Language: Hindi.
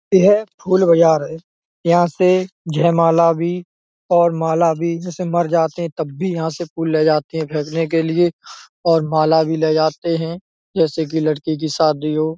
यह फूल बाजार है। यहाँ से जयमाला भी और माला भी जब मर जाते ही तब यहाँ से फूल ले जाते हैं फेकने के लिए और माला भी ले जाते हैं जैसे की लड़की की शादी हो --